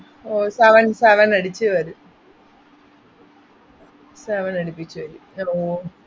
"sninja-text id=""fontsninja-text-491"" class=""fontsninja-family-55""ഓ seven, seven അടിച്ച് വരും seven അടിപ്പിച്ചുവരും fontsninja-text"